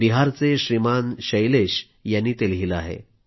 बिहारचे श्रीमान शैलेश यांनी ते लिहिलं आहे